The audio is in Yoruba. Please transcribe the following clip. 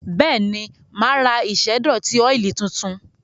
Bẹ́ẹ̀ni, mà á ra ìṣẹ́dọ̀tí ọ́ìlì tuntun?